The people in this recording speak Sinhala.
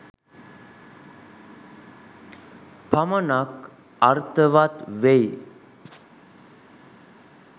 පමණක් අර්ථවත් වෙයි